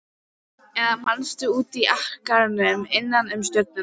Eða manstu úti á akrinum innan um stjörnurnar.